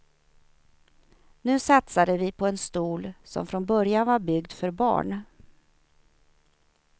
Nu satsade vi på en stol som från början var byggd för barn.